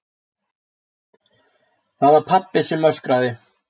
Það var pabbi sem öskraði.